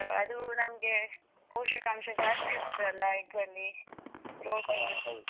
ಅದ್ ಅದೂ ನಮ್ಗೆ ಪೋಷಕಾಂಶ ಜಾಸ್ತಿ ಇರ್ತದಲ್ಲಾ egg ಅಲ್ಲಿ protein.